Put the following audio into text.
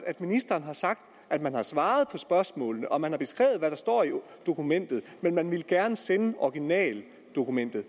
at ministeren har sagt at man har svaret på spørgsmålene og man har beskrevet hvad der står i dokumentet men man ville gerne sende originaldokumentet